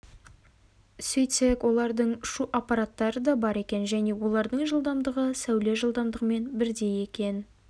сөйтсек олардың ұшу аппараттары да бар екен және олардың жылдамдығы сәуле жылдамдығымен бірдей екен